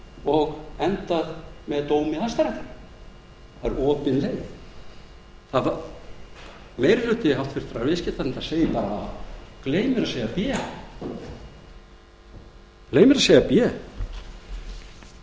og endað með dómi hæstaréttar það er opin leið meiri hluti háttvirtur viðskiptanefndar segir bara a og gleymir að segja b ég